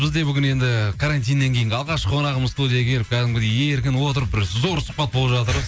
бізде бүгін енді карантиннен кейінгі алғашқы қонағымыз студияға келіп кәдімгідей еркін отырып бір зор сұхбат болып жатыр